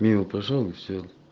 мимо прошёл и всё